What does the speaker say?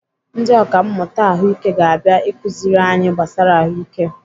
Ndị ọkàmmụta Ahụike ga-abịa akụziri anyị gbasara ahụike.